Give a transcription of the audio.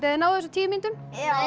þið náið þessu á tíu mínútum